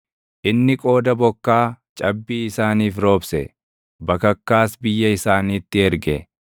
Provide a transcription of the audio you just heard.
Inni qooda bokkaa cabbii isaaniif roobse; bakakkaas biyya isaaniitti erge;